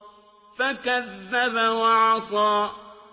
فَكَذَّبَ وَعَصَىٰ